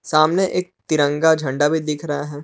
सामने एक तिरंगा झंडा भी दिख रहा है।